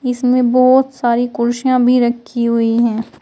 इसमें बहुत सारी कुर्सियां भी रखी हुई है।